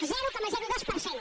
zero coma dos per cent